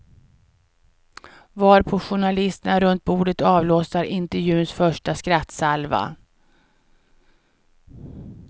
Varpå journalisterna runt bordet avlossar intervjuns första skrattsalva.